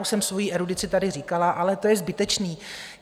Už jsem svoji erudici tady říkala, ale to je zbytečné.